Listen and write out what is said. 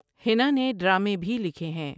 ہینا نے ڈرامے بھی لکھے ہیں ۔